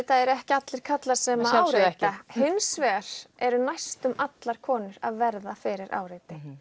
ekki allir karlmenn sem áreita hins vegar eru næstum allar konur að verða fyrir áreitni